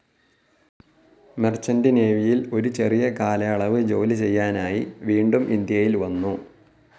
Merchant നേവിയിൽ ഒരു ചെറിയ കാലയളവ് ജോലി ചെയ്യാനായി വീണ്ടും ഇന്ത്യയിൽ വന്നു.